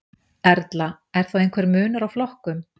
Erla: Er þá einhver munur á flokkum?